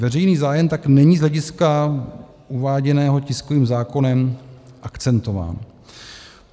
veřejný zájem tak není z hlediska uváděného tiskovým zákonem akcentován.